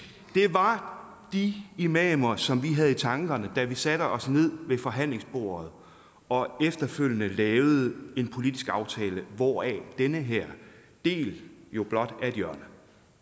var de imamer som vi havde i tankerne da vi satte os ned ved forhandlingsbordet og efterfølgende lavede en politisk aftale hvoraf den her del jo blot er et hjørne